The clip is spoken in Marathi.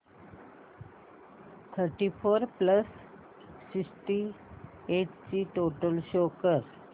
thirty four plus sixty eight ची टोटल शो कर